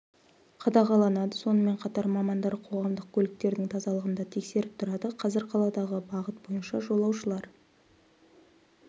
қадағаланады сонымен қатар мамандар қоғамдық көліктердің тазалығын да тексеріп тұрады қазір қаладағы бағыт бойынша жолаушылар